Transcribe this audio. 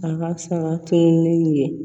A ka saga tununnen